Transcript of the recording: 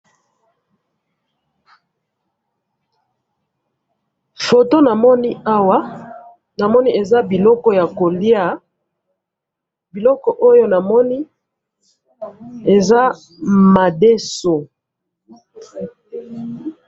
Awa na moni biloko ya kolia, eza madeso.